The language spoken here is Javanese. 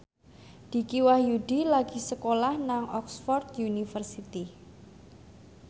Dicky Wahyudi lagi sekolah nang Oxford university